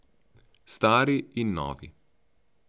Stari in novi.